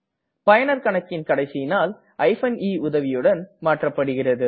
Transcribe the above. பயனரின் கணக்கின் கடைசி நாள் eன் உதவியுடன் மாற்றப்படுகிறது